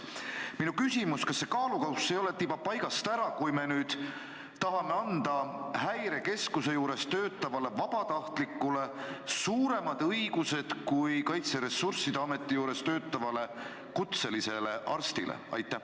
Minu küsimus on järgmine: kas kaalukausid ei ole tibake paigast ära, kui tahame anda Häirekeskuse juures töötavale vabatahtlikule suuremad õigused, kui on Kaitseressursside Ameti juures töötaval kutselisel arstil?